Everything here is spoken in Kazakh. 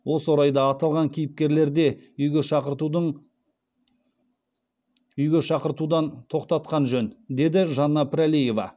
осы орайда аталған кейіпкерлерде үйге шақыртудан тоқтатқан жөн деді жанна пірәлиева